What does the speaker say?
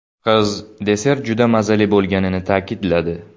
Qiz desert juda mazali bo‘lganini ta’kidladi.